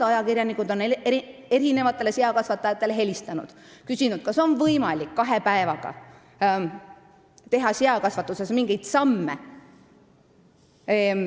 Ajakirjanikud on mitmele seakasvatajale helistanud ja küsinud, kas on võimalik kahe päevaga teha seakasvatuses mingeid samme.